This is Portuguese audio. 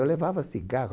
Eu levava cigarro.